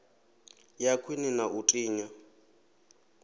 ya khwine na u tinya